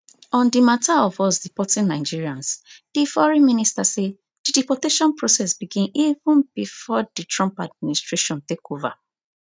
on di mata of us deporting nigerians di foreign minister say di deportation process begin even before di trump administration take over